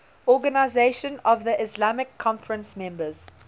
organisation of the islamic conference members